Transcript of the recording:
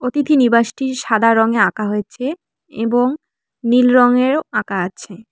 অতিথি নিবাসটির সাদা রঙে আঁকা হয়েছে এবং নীল রঙেরও আঁকা আছে।